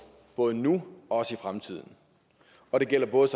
både nu og i fremtiden og det gælder både